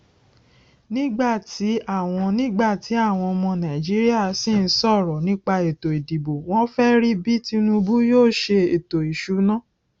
nígbà tí àwọn nígbà tí àwọn ọmọ nàìjíríà sín sọrọ nípa ètò ìdìbò wọn fẹ rí bí tinubu yóò ṣe ètò ìsúná